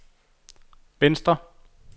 venstre